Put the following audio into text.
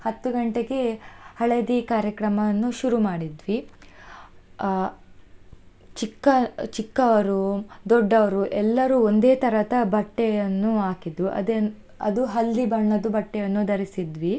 ಹತ್ತು ಗಂಟೆಗೆ ಹಳದಿ ಕಾರ್ಯಕ್ರಮವನ್ನು ಶುರು ಮಾಡಿದ್ವಿ. ಆ ಚಿಕ್ಕ ಚಿಕ್ಕವರು ದೊಡ್ಡವರು ಎಲ್ಲರೂ ಒಂದೇ ತರದ ಬಟ್ಟೆಯನ್ನು ಹಾಕಿದ್ವು, ಅದನ್ನು ಅದು ಹಳದಿ ಬಣ್ಣದು ಬಟ್ಟೆಯನ್ನು ಧರಿಸಿದ್ವಿ.